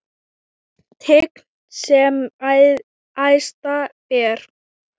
Tign sem æðsta ber.